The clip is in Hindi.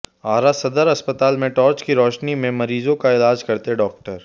आरा सदर अस्पताल में टॉर्च की रोशनी में मरीजों का इलाज करते डॉक्टर